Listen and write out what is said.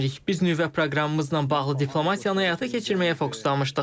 Biz nüvə proqramımızla bağlı diplomatiyanı həyata keçirməyə fokuslanmışdıq.